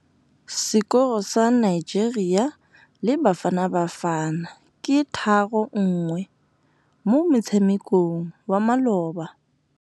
Sekôrô sa Nigeria le Bafanabafana ke 3-1 mo motshamekong wa malôba.